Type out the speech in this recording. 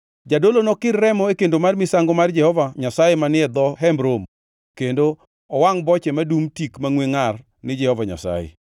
Jadolo nokir remo e kendo mar misango mar Jehova Nyasaye manie dho Hemb Romo, kendo owangʼ boche madum tik mangʼwe ngʼar ni Jehova Nyasaye.